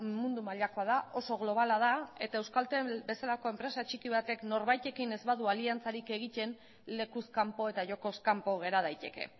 mundu mailakoa da oso globala da eta euskaltel bezalako enpresa txiki batek norbaitekin ez badu aliantzarik egiten lekuz kanpo eta jokoz kanpo gera daiteke